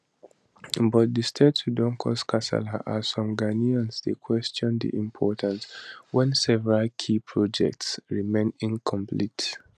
but di statue don cause kasala as some ghanaians dey question di importance wen several key projects remain incomplete